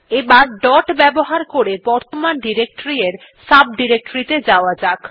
এবার ডট ব্যবহার করে বর্তমান ডিরেক্টরী এর সাব ডিরেক্টরী ত়ে যাওয়া যাক